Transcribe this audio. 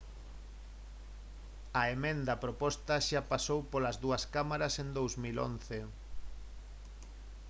a emenda proposta xa pasou polas dúas cámaras en 2011